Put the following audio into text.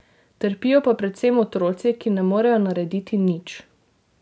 Trpijo pa predvsem otroci, ki ne morejo narediti nič.